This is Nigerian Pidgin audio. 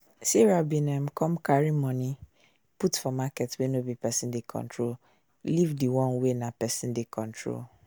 sarah bin um come carry money put for market wey no be person dey control leave di one wey na person dey control